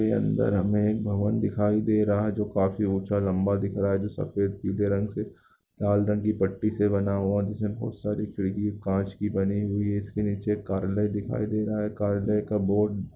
के अंदर हमें एक भवन दिखाई दे रहा है जो काफी ऊँचा लम्बा दिख रहा है जो सफ़ेद पीले रंग से लाल रंग की पट्टी से बना हुआ जिसमें बहुत सारी खिड़की काँच की बनी हुई है इसके नीचे कार्यालय दिखाई दे रहा है कार्यालय का बोर्ड --